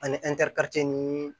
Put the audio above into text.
Ani ni